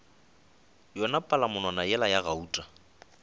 yona palamonwana yela ya gauta